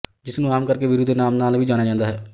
ਜਿਸਨੂੰ ਆਮ ਕਰਕੇ ਵੀਰੂ ਦੇ ਨਾਮ ਨਾਲ ਵੀ ਜਾਣਿਆ ਜਾਂਦਾ ਹੈ